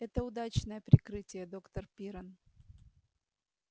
это удачное прикрытие доктор пиренн